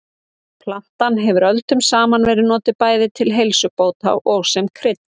Plantan hefur öldum saman verið notuð bæði til heilsubóta og sem krydd.